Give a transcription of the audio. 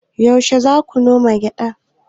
Yaushe za ku koma gidan?